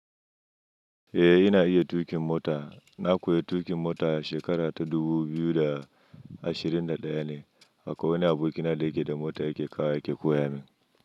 Eh ina iya tuƙin mota. Na koya tuƙin mota a shekara ta dubu biyu da ashirin da ɗaya ne. Akwai wani aboki na da yake da mota ya ke kawo wa ya ke koya min.